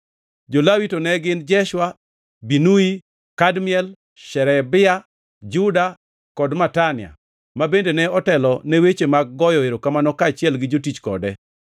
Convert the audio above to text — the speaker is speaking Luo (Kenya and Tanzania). Jo-Lawi to ne gin: Jeshua, Binui, Kadmiel, Sherebia, Juda, kod Matania ma bende notelo ne weche mag goyo erokamano kaachiel gi jotich kode.